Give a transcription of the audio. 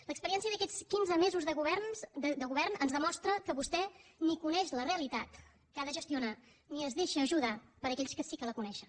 l’experiència d’aquests quinze mesos de govern ens demostra que vostè ni coneix la realitat que ha de gestionar ni es deixa ajudar per aquells que sí que la coneixen